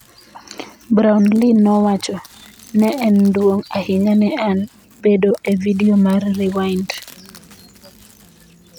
Brownlee nowacho : “Ne en duong’ ahinya ne an bedo e vidio mar Rewind.”